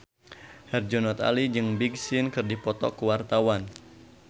Herjunot Ali jeung Big Sean keur dipoto ku wartawan